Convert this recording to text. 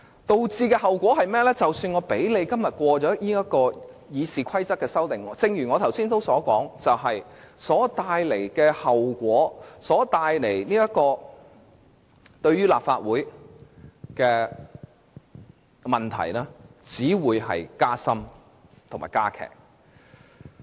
結果，即使今天通過對《議事規則》的修訂，但正如我剛才所說般，所造成的後果及為立法會所帶來的問題只會加深加劇。